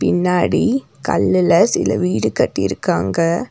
பின்னாடி கல்லுல சில வீடு கட்டுருக்காங்க.